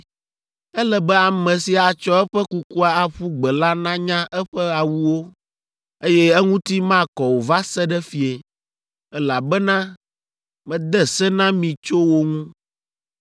Ele be ame si atsɔ eƒe kukua aƒu gbe la nanya eƒe awuwo, eye eŋuti makɔ o va se ɖe fiẽ, elabena mede se na mi tso wo ŋu.